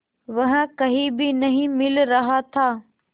वह कहीं भी नहीं मिल रहा था